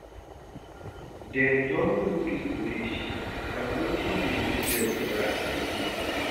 Dem don go do odeshi, na wetin dey give dem morah like dis